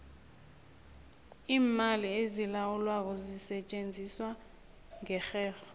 iimali ezilawulwako zisetjenziswa ngerherho